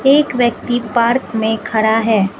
एक व्यक्ति पार्क में खड़ा है।